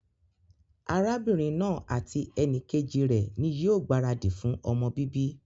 Arábínrin naa àti enìkejì rè ní yío gbàradì fun ọmọ bíbí